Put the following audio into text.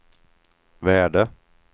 värde